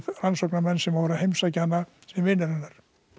rannsóknarmenn sem voru að heimsækja hana sem vinir hennar